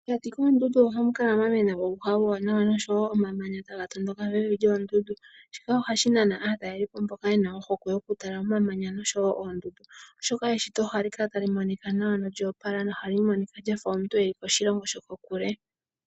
Pokati koondundu ohapu kala pwa mena uuhwa uuwanawa noshowo omamanya taga tondoka pevi lyoondundu. Shika ohashi nana aatalelipo mboka ye na ohokwe yokutala omamanya oshowo oondundu, oshoka eshito ohali kala tali monika nawa nolyoopala. Ohali monika lya fa omuntu e li koshilongo shokokule.